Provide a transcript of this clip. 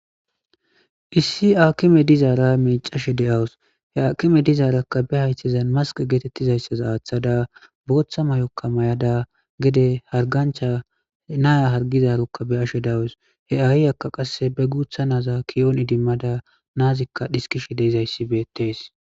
Issi akime dizara miccashe deyawus akime dizara baa hayithazan maske gizara athada bothha mayoka mayada gede hariganicha nayi harigizayisa beyashe dawus he ayikka gutha naa ki'on idimadda na'azika isikishe dizayisi betes